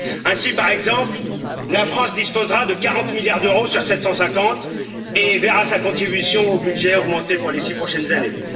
Ainsi, par exemple, la France disposera de 40 milliards d'euros sur 750 et verra sa contribution au budget augmenter pour les 6 prochaines années.